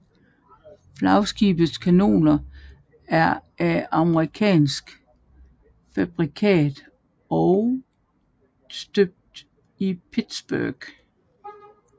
Flagskibets kanoner er af amerikansk fabrikat og støbt i Pittsburgh